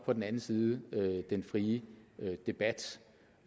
på den anden side den frie debat